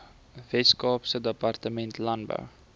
weskaapse departement landbou